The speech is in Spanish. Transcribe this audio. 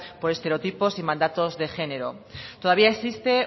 por estereotipos y mandatos de género todavía existe